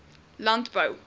landbou